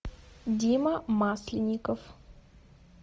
дима масленников